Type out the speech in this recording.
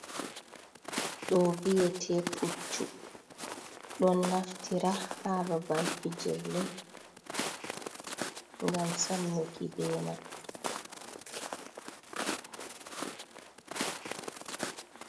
Ɗo biyete puccu. Ɗon naftira ha babal pijirle, ngam samnuki be man.